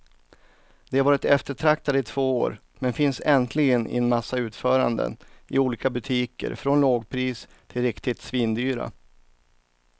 De har varit eftertraktade i två år, men finns äntligen i en massa utföranden i olika butiker från lågpris till riktigt svindyra.